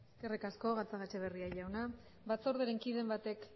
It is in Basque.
eskerrik asko gatzagaetxebarria jauna batzordearen kideren batek